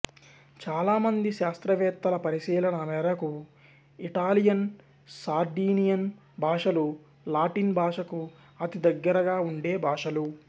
చాలా మంది శాస్త్రవేత్తల పరిశీలన మేరకు ఇటాలియన్ సార్డీనియన్ భాషలు లాటిన్ భాషకు అతి దగ్గరగా ఉండే భాషలు